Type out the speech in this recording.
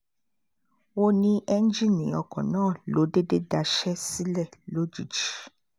ó ní ẹ́ńjìnnì ọkọ̀ náà ló déédé daṣẹ́ sílẹ̀ lójijì